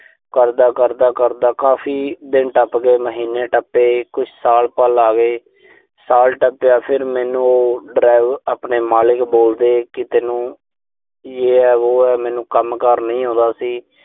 ਕਰਦਾ-ਕਰਦਾ-ਕਰਦਾ, ਕਾਫ਼ੀ ਦਿਨ ਟੱਪ ਗਏ, ਮਹੀਨੇ ਟੱਪੇ, ਕੁਛ ਸਾਲ ਪਲ ਆ ਗਏ। ਸਾਲ ਟੱਪਿਆ, ਫਿਰ ਮੈਨੂੰ ਉਹ ਡਰਾਇਵ ਅਹ ਆਪਣੇ ਮਾਲਕ ਬੋਲਦੇ ਕਿ ਤੈਨੂੰ ਜੇ ਐ ਵੇ ਐ, ਮੈਨੂੰ ਕੰਮਕਾਰ ਨਹੀਂ ਆਉਂਦਾ ਸੀ।